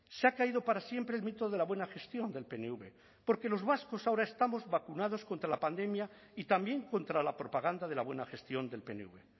se ha caído para siempre el mito de la buena gestión del pnv porque los vascos ahora estamos vacunados contra la pandemia y también contra la propaganda de la buena gestión del pnv